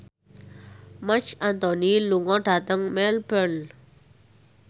Marc Anthony lunga dhateng Melbourne